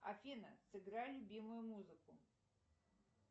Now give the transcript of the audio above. афина сыграй любимую музыку